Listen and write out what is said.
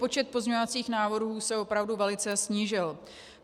Počet pozměňovacích návrhů se opravdu velice snížil.